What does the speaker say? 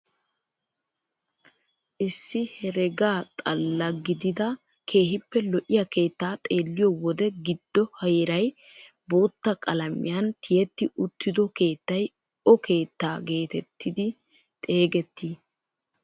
Issi herega xalla gidida keehippe lo"iyaa keettaa xeelliyoo wode giddo heeray bootta qalamiyaan tiyetti uttido keettay o keettaa getettidi xeegettii?